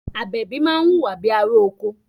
Àbẹ̀bí máa ń wùwà bíi ará oko